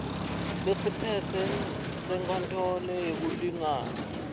lesiphetse senkantolo yetekulingana